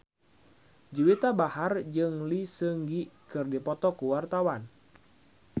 Juwita Bahar jeung Lee Seung Gi keur dipoto ku wartawan